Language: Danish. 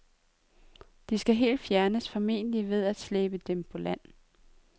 De skal helt fjernes, formentlig ved at slæbe dem på land.